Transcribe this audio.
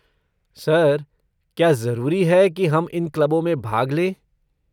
Sir, क्या जरूरी है कि हम इन क्लबों में भाग लें?